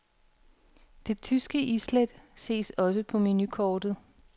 Det tyske islæt ses også på menukortet.